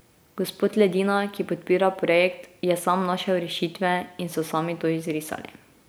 Gospod Ledina, ki podpira projekt, je sam našel rešitve in so sami to izrisali.